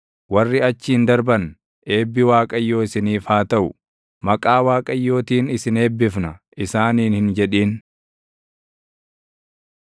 Warri achiin darban, “Eebbi Waaqayyoo isiniif haa taʼu; maqaa Waaqayyootiin isin eebbifna” isaaniin hin jedhin.